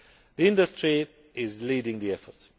The industry is leading the effort.